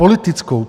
Politickou.